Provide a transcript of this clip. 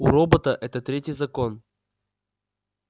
у робота это третий закон